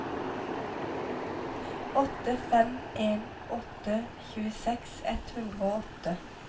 åtte fem en åtte tjueseks ett hundre og åtte